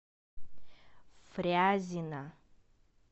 фрязино